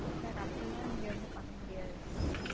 Sir அப்படிலாம் இங்க வந்து பண்ண முடியாது Sir.